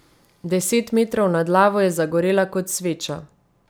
Deset metrov nad lavo je zagorela kot sveča.